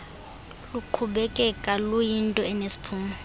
luqhubekeka luyinto enesiphumo